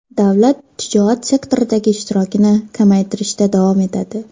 Davlat tijorat sektoridagi ishtirokini kamaytirishda davom etadi.